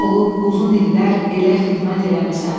Həkim olub uzun illər elə xidmət eləmisən.